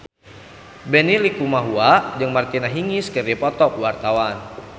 Benny Likumahua jeung Martina Hingis keur dipoto ku wartawan